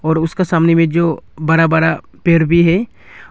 और उसका सामने में जो बड़ा बड़ा पेड़ भी है।